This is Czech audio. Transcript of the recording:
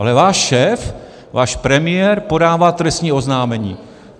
Ale váš šéf, váš premiér, podává trestní oznámení.